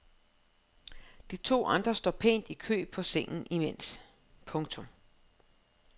De to andre står pænt i kø på sengen imens. punktum